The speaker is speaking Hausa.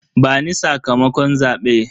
Bani sakamakon zabe.